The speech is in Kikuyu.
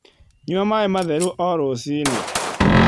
Nyua maĩ matherũ oh rũcĩĩnĩ